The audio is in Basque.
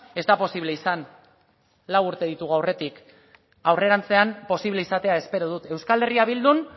ez da posible izan lau urte ditugu aurretik aurrerantzean posible izatea espero dut euskal herria bildun